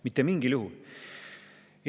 Mitte mingil juhul!